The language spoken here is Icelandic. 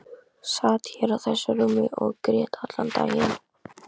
Sat hér á þessu rúmi og grét allan daginn.